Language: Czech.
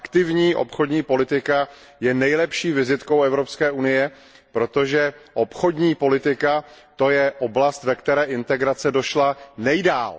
Aktivní obchodní politika je nejlepší vizitkou Evropské unie, protože obchodní politika je oblastí, ve které integrace došla nejdál.